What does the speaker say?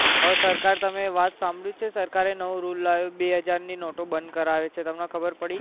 હવે સરકાર તમે ની વાત તમે સાંભળી છે સરકાર નવો rules લાવ્યો બે હજાર ની નોટો બંધ કરાવે છે તમને ખબર પડી